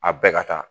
A bɛɛ ka kan